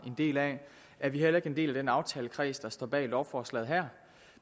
en del af er vi heller ikke en del af den aftalekreds der står bag lovforslaget her